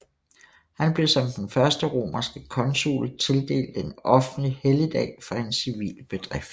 Han blev som den første romerske consul tildelt en offentlig helligdag for en civil bedrift